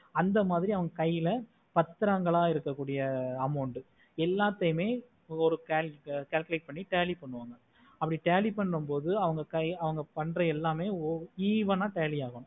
அந்த மாதிரி அவங்க கைல பத்ரங்களா இருக்க கூடிய amount எல்லாதையுமே ஒரு calculate பண்ணி tally பண்ணுனோம் அப்டி tally பண்ண மோடு அவங்க பண்ற எல்லாமே even ஆஹ் tally ஆகும்